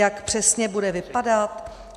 Jak přesně bude vypadat?